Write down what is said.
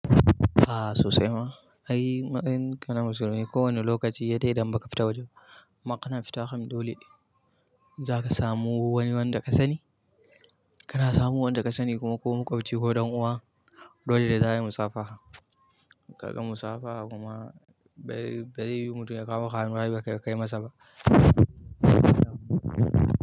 A'a sosai ma, ai matsayinka na musulmi kowani lokaci he de idan ba ka fita waje ba. Amma kana fita kam dole za ka samu wani wanda ka sani, kana samun wanda ka sani kuma ko maƙwabci ko ɗan uwa. Dole da za a yi musafaha, ka ga musafaha kuma bare yiwu mutum ya kawo maka hannu ba ka kai masa ba.